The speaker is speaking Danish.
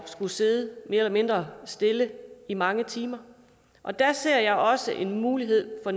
skulle sidde mere eller mindre stille i mange timer og der ser jeg også en mulighed for